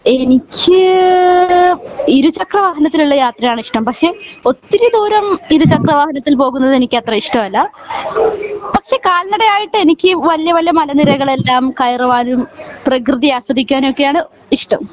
എനിക്ക് ഇരു ചക്ര വാഹനത്തിൽ ഉള്ള യാത്രയാണ് ഇഷ്ട്ടം പക്ഷെ ഒത്തിരി ദൂരം ഇരുചക്ര വാഹനത്തിൽ പോകുന്നത് എനിക്ക് അത്ര ഇഷ്ട്ടം അല്ല പക്ഷെ കാൽ നട ആയിട്ട് എനിക്ക് വല്യ വല്യ മലനിരകൾ എല്ലാം കയറുവാനും പ്രകൃതി ആസ്വദിക്കാനും ഒക്കെ ആണ് ഇഷ്ട്ടം